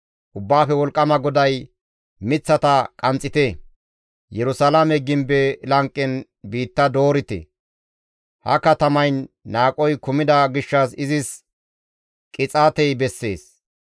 Ubbaafe Wolqqama GODAY, «Miththata qanxxite. Yerusalaame gimbe lanqen biitta doorite; ha katamayn qohoy kumida gishshas izis qixaatey bessees.